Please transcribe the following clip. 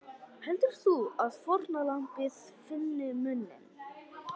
Heldur þú að fórnarlambið finni muninn?